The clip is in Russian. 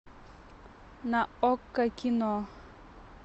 на окко кино